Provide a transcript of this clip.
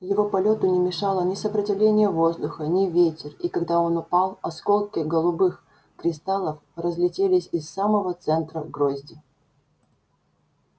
его полёту не мешало ни сопротивление воздуха ни ветер и когда он упал осколки голубых кристаллов разлетелись из самого центра грозди